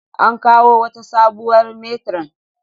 An kawo wata sabuwar metiron